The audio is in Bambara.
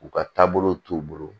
U ka taabolow t'u bolo